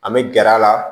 An bɛ gɛrɛ a la